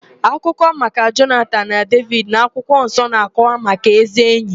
Akụkọ maka Jonatan na Devid n'akwụkwọ nsọ na-akọwa maka ézí ényì.